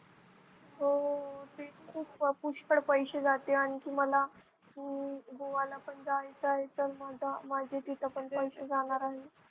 हो खूप पुष्कळ पैसे जाते आणखी मला हम्म गोव्याला पण जायचं आहे तर मग तिथे तर पैसे जाणार आहे.